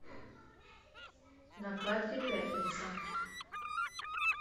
на карте пятница